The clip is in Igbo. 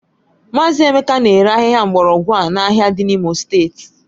Mazị Emeka na-ere ahịhịa mgbọrọgwụ a n'ahịa dị n'Imo steeti